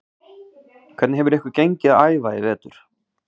Hvernig hefur ykkur gengið að æfa í vetur?